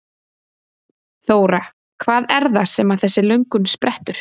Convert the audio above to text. Þóra: Hvað er það sem að þessi löngun sprettur?